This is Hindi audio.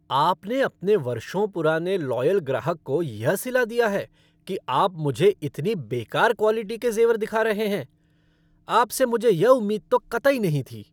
आपने अपने वर्षों पुराने लॉयल ग्राहक को यह सिला दिया है कि आप मुझे इतनी बेकार क्वॉलिटी के जेवर दिखा रहे हैं। आपसे मुझे यह उम्मीद तो कतई नहीं थी।